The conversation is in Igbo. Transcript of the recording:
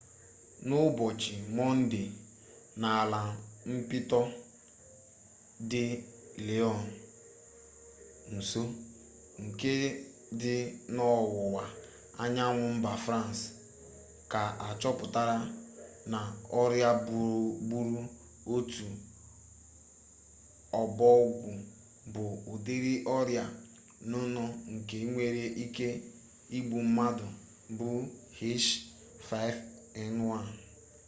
n'ụbọchị mọnde n'ala mpịtọ dị lyon nso nke dị n'ọwụwa anyanwụ mba frans ka achọpụtara na ọrịa gburu otu ọbọgwụ bụ ụdịrị ọrịa nnụnụ nke nwere ike igbu mmadụ bụ h5n1